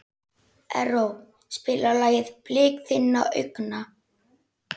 Erró, spilaðu lagið „Blik þinna augna“.